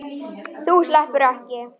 Þú sleppur ekki!